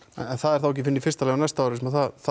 en það er þá ekki fyrr en í fyrsta lagi á næsta ári sem